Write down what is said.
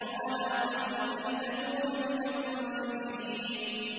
عَلَىٰ قَلْبِكَ لِتَكُونَ مِنَ الْمُنذِرِينَ